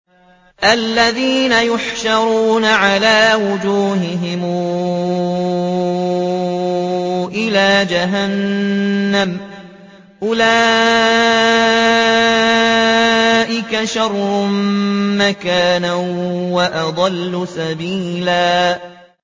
الَّذِينَ يُحْشَرُونَ عَلَىٰ وُجُوهِهِمْ إِلَىٰ جَهَنَّمَ أُولَٰئِكَ شَرٌّ مَّكَانًا وَأَضَلُّ سَبِيلًا